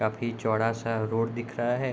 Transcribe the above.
काफी चौड़ा-सा रोड दिख रहा है।